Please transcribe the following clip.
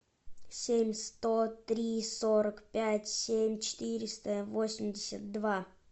семь сто три сорок пять семь четыреста восемьдесят два